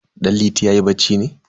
Danliti yayi bacci ne?